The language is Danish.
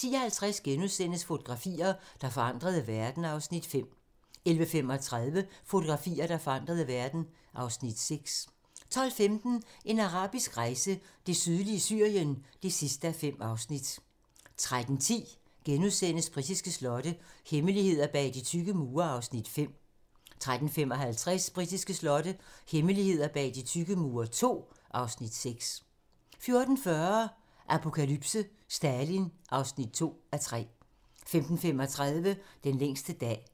10:50: Fotografier, der forandrede verden (Afs. 5)* 11:35: Fotografier, der forandrede verden (Afs. 6) 12:15: En arabisk rejse: Det sydlige Syrien (5:5) 13:10: Britiske slotte - hemmeligheder bag de tykke mure (Afs. 5)* 13:55: Britiske slotte - hemmeligheder bag de tykke mure II (Afs. 6) 14:40: Apokalypse: Stalin (2:3) 15:35: Den længste dag